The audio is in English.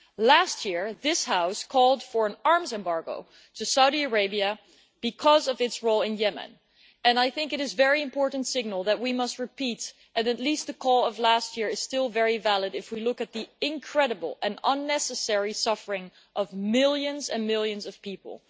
Last year, this House called for an arms embargo to Saudi Arabia because of its role in Yemen. It is a very important signal that we must repeat, and at least the call of last year is still very valid if we look at the incredible and unnecessary suffering of millions and millions of people.